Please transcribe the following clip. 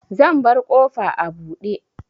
Zan bar ƙofa a buɗe.